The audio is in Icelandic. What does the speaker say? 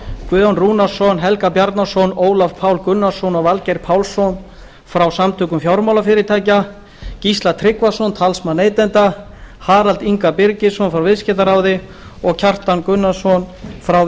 guðjón rúnarsson helga bjarnason ólaf pál gunnarsson og valgeir pálsson frá samtökum fjármálafyrirtækja gísla tryggvason talsmann neytenda harald inga birgisson frá viðskiptaráði og kjartan gunnarsson frá